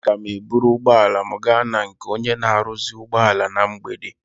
Aga m eburu ụgbọala m gaa na nke onye na-aruzi ụgbọala na mgbede.